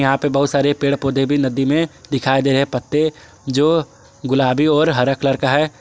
बहुत सारे पेड़ पौधे भी नदी में दिखाई दे रहे हैं पत्ते जो गुलाबी और हरा कलर का है।